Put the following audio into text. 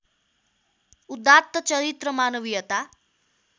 उदात्त चरित्र मानवीयता